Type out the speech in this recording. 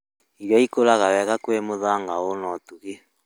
Irio ikũraga wega kwĩ mũthanga ũri na ũtugi